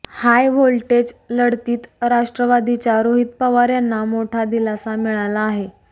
हाय voltage लढतीत राष्ट्रवादीच्या रोहित पवार यांना मोठा दिलासा मिळाला आहे